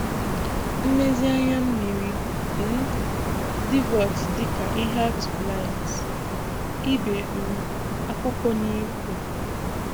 mmèzì ànyà mmiri, um dìvòt dị ka ihe atụ blinds, Ibè um akwụkwọ na-ìkwù.